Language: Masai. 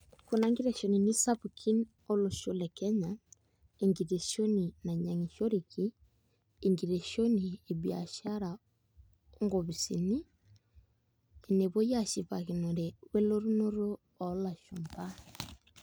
Kuna nkiteshenini sapukin olosho lekenya enkiteshoni nainyiangishoreki , enkiteshoni ebiashara onkopisini enepuoi ashipakinore welotunoto olashumba .